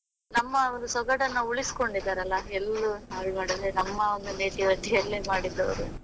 ನಮ್ಮ ಒಂದು ಸೊಗಡನ್ನು ಉಳಿಸಿಕೊಂಡಿದ್ದಾರಲ್ಲಾ, ಎಲ್ಲೂ ಹಾಳು ಮಾಡದೆ ನಮ್ಮ ಒಂದು nativity ಅಲ್ಲೇ ಮಾಡಿದ್ದು.ಅವ್ರು